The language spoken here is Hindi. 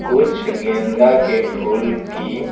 कुछ गेंदा के फूल की--